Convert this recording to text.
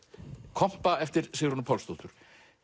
kompa eftir Sigrúnu Pálsdóttur